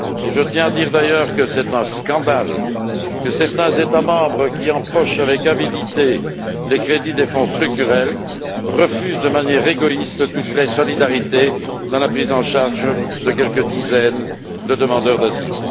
Je tiens à dire d'ailleurs que c'est un scandale que certains États membres qui empochent avec avidité les crédits des Fonds structurels refusent de manière égoïste toute vraie solidarité dans la prise en charge de quelques dizaines de demandeurs d'asile.